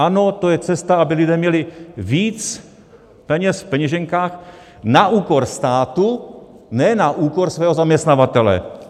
Ano, to je cesta, aby lidé měli víc peněz v peněženkách na úkor státu, ne na úkor svého zaměstnavatele.